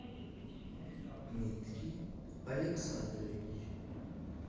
дмитрий александрович